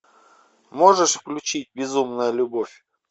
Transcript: можешь включить безумная любовь